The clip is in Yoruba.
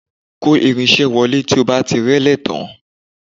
Kò irin-iṣẹ́ wọlé tí o bá ti rẹ́lé tán